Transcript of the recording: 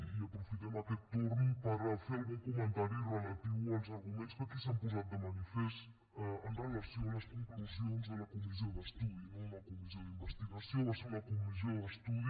i aprofitem aquest torn per fer algun comentari relatiu als arguments que aquí s’han posat de manifest amb relació a les conclusions de la comissió d’estudi no una comissió d’investigació va ser una comissió d’estudi